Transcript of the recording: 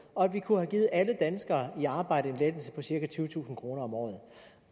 og at vi kunne have givet alle danskere i arbejde en lettelse på cirka tyvetusind kroner om året